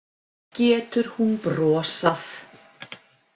Getur hún brosað?